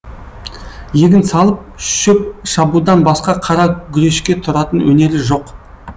егін салып шөп шабудан басқа қара гүрешке тұратын өнері жоқ